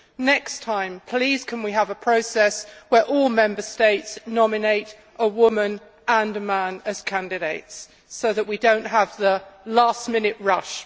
Next time, please can we have a process where all Member States nominate a woman and a man as candidates, so that we do not have the last minute rush.